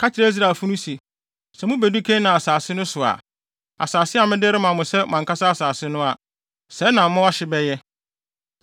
“Ka kyerɛ Israelfo no se: ‘Sɛ mubedu Kanaan asase no so a, asase a mede rema mo sɛ mo ankasa asase no a, sɛɛ na mo ahye bɛyɛ: